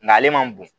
Nga ale man bon